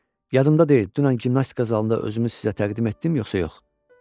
Yadımda deyil, dünən gimnastika zalında özümü sizə təqdim etdim, yoxsa yox?